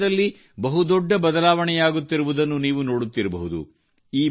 ದೇಶದಲ್ಲಿ ಬಹುದೊಡ್ಡ ಬದಲಾವಣೆಯಾಗುತ್ತಿರುವುದನ್ನು ನೀವು ನೋಡುತ್ತಿರಬಹುದು